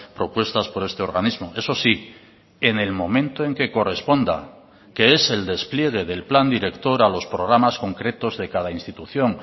propuestas por este organismo eso sí en el momento en que corresponda que es el despliegue del plan director a los programas concretos de cada institución